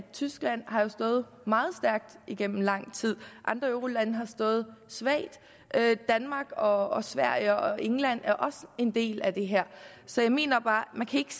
tyskland har stået meget stærkt igennem lang tid andre eurolande har stået svagt danmark og sverige og england er også en del af det her så jeg mener bare at man ikke